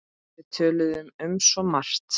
Við töluðum um svo margt.